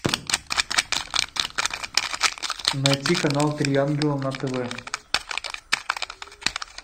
найти канал три ангела на тв